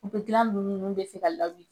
gilan lulu nunnu bɛ se ka lawili